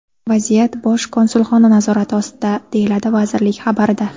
Vaziyat Bosh konsulxona nazorati ostida, deyiladi vazirlik xabarida.